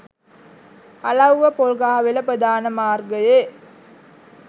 අලව්ව පොල්ගහවෙල ප්‍රධාන මාර්ගයේ